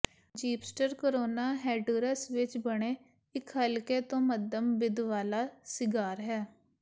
ਜੀਸਪਰਟ Corona Honduras ਵਿੱਚ ਬਣੇ ਇੱਕ ਹਲਕੇ ਤੋਂ ਮੱਧਮ ਬਿੱਦ ਵਾਲਾ ਸਿਗਾਰ ਹੈ